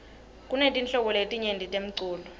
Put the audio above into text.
kunetinhlobo letinyeti temlulo